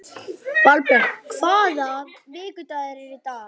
Valbjörn, hvaða vikudagur er í dag?